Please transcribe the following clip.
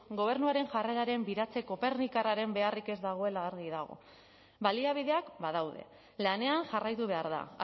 gobernuaren jarreraren biratzeko pernikarraren beharrik ez dagoela argi dago baliabideak badaude lanean jarraitu behar da